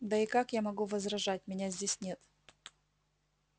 да и как я могу возражать меня здесь нет